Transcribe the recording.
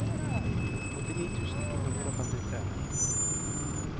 åttini tusen to hundre og femtitre